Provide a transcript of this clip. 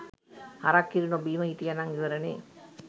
හරක් කිරි නොබීම හිටියනම් ඉවරනේ.